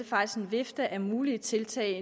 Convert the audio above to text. faktisk en vifte af mulige tiltag